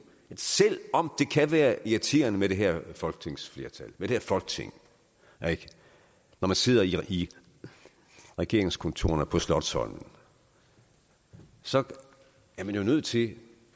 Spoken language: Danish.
at selv om det kan være irriterende med det her folketingsflertal med det her folketing når man sidder i regeringskontorerne på slotsholmen så er man nødt til